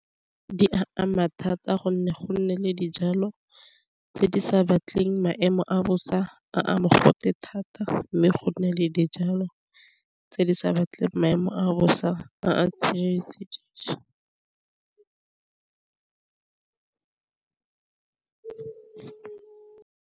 Di ama thata gonne go nne le dijalo tse di sa batleng maemo a bosa a a mogote thata, mme go nne le dijalo tse di sa batleng maemo a bosa a tshetse dijo.